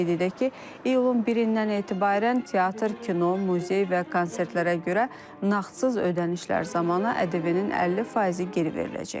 Qeyd edək ki, iyulun 1-dən etibarən teatr, kino, muzey və konsertlərə görə nağdsız ödənişlər zamanı ƏDV-nin 50%-i geri veriləcək.